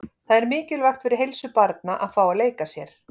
Það er mikilvægt fyrir heilsu barna að fá að leika sér.